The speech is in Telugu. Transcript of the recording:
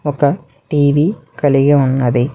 ఒక టీ_వి కలిగి ఉన్నది.